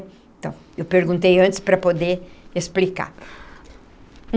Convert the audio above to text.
Então, eu perguntei antes para poder explicar.